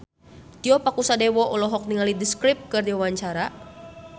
Tio Pakusadewo olohok ningali The Script keur diwawancara